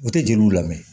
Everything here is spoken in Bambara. U tɛ jeliw lamɛn